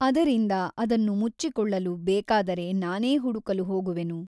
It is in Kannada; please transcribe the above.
ಅದರಿಂದ ಅದನ್ನು ಮುಚ್ಚಿಕೊಳ್ಳಲು ಬೇಕಾದರೆ ನಾನೇ ಹುಡುಕಲು ಹೋಗುವೆನು.